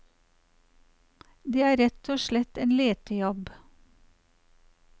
Det er rett og slett en letejobb.